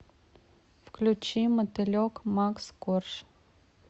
включи мотылек макс корж